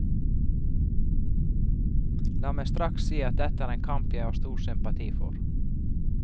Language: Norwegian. La meg straks si at dette er en kamp jeg har stor sympati for.